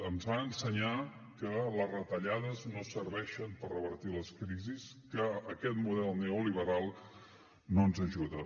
ens va ensenyar que les retallades no serveixen per revertir les crisis que aquest model neoliberal no ens ajuda